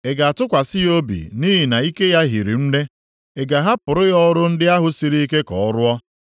Ị ga-atụkwasị ya obi nʼihi na ike ya hiri nne? Ị ga-ahapụrụ ya ọrụ ndị ahụ siri ike ka ọ rụọ?